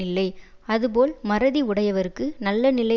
இல்லை அதுபோல் மறதி உடையவர்க்கு நல்ல நிலை